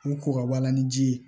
Ni ko ka b'a la ni ji ye